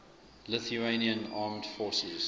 lithuanian armed forces